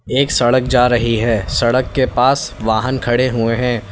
एक सड़क जा रही है सड़क के पास वाहन खड़े हुए हैं।